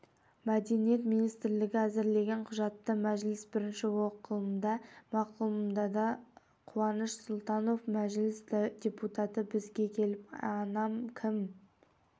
мәдениет министрлігі әзірлеген құжатты мәжіліс бірінші оқылымда мақұлдады қуаныш сұлтанов мәжіліс депутаты бізге келіп анам кім